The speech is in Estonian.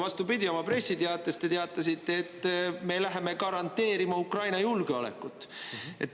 Vastupidi, oma pressiteates te teatasite, et me läheme garanteerima Ukraina julgeolekut.